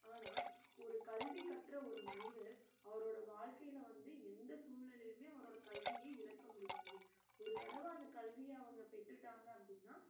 ஆனா ஒரு கல்வி கற்ற ஒரு மனிதர் அவரோட வாழ்க்கையில வந்து எந்த சூழ்நிலையிலுமே அவரோட கல்விய இழக்க முடியாது ஒரு தடவ அந்த கல்விய அவங்க பெற்றுட்டாங்க அப்படின்னா